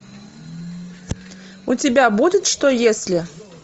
у тебя будет что если